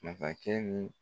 Nafakɛ ni